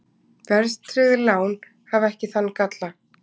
Verðtryggð lán hafa ekki þann galla.